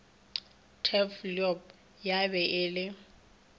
turfloop ya be e le